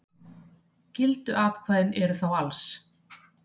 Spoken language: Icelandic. Gildu atkvæðin eru þá alls